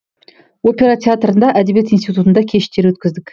опера театрында әдебиет институтында кештер өткіздік